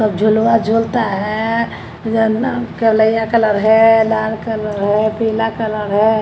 सब झुलवा झुलता है येलो कलैया कलर है लाल कलर है पीला कलर है।